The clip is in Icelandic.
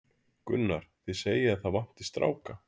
Gunnar: Þið segið að það vanti stráka?